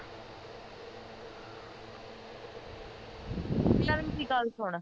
ਪਹਿਲਾ ਗੱਲ ਸੁਨ